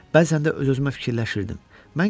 Bəzən də öz-özümə fikirləşirdim.